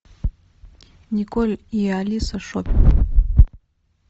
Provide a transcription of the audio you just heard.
николь и алиса шоп